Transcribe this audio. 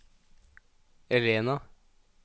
Elena